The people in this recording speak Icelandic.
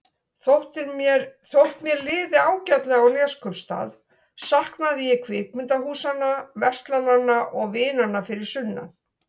Þótt mér liði ágætlega á Neskaupstað saknaði ég kvikmyndahúsanna, verslananna og vinanna fyrir sunnan.